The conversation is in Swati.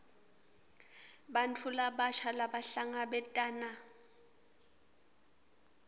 bantfu labasha labahlangabetana